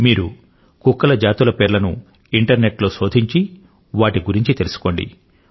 మీరు కుక్కల జాతుల పేర్లను ఇంటర్ నెట్ లో శోధించి వాటిని గురించి తెలుసుకోండి